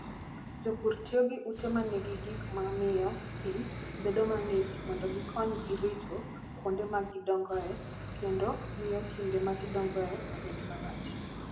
Jopur tiyo gi ute ma nigi gik ma miyo pi bedo mang'ich mondo gikonygi rito kuonde ma gidongoe kendo miyo kinde ma gidongoe obed malach.